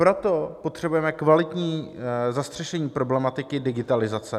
Proto potřebujeme kvalitní zastřešení problematiky digitalizace.